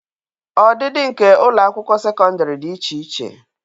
Ọdịdị nke ụlọ akwụkwọ sekọndrị dị iche iche..